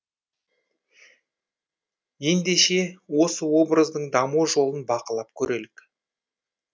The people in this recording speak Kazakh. ендеше осы образдың даму жолын бақылап көрелік